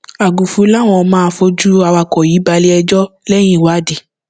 àgùfù láwọn máa fojú awakọ yìí balé ẹjọ lẹyìn ìwádìí